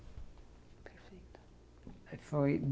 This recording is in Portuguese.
Perfeito. Foi